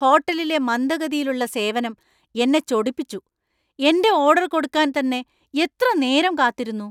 ഹോട്ടലിലെ മന്ദഗതിയിലുള്ള സേവനം എന്നെ ചൊടിപ്പിച്ചു. എന്‍റെ ഓർഡർ കൊടുക്കാന്‍ തന്നെ എത്ര നേരം കാത്തിരുന്നു!